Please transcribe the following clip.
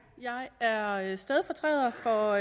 jeg er stedfortræder for